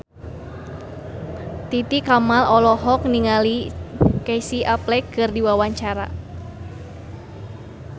Titi Kamal olohok ningali Casey Affleck keur diwawancara